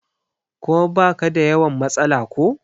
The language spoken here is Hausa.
kuma ba ka da yawan matsala ko?